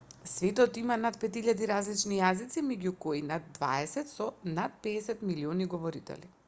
светот има над 5000 различни јазици меѓу кои над дваесет со над 50 милиони говорители